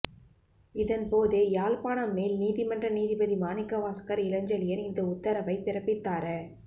இதன் போதே யாழ்ப்பாணம் மேல் நீதிமன்ற நீதிபதி மாணிக்கவாசகர் இளஞ்செழியன் இந்த உத்தரவை பிறப்பித்தார